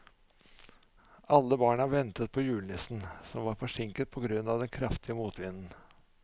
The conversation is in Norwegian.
Alle barna ventet på julenissen, som var forsinket på grunn av den kraftige motvinden.